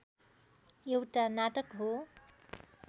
एउटा नाटक हो